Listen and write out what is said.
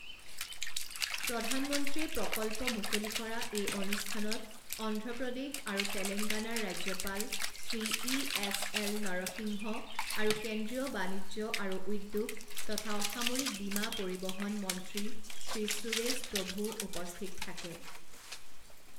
প্ৰধানমন্ত্ৰীয়ে প্ৰকল্প মুকলি কৰা এই অনুষ্ঠানত অন্ধ্ৰপ্ৰদেশআৰু তেলেংগানাৰ ৰাজ্যপাল Shri E S L Narasimha আৰু কেন্দ্ৰীয় বাণিজ্য আৰু উদ্যোগ তথা অসামৰিক বিমা পৰিবহন মন্ত্ৰী শ্ৰী সুৰেশ প্ৰভূও উপস্থিত থাকে।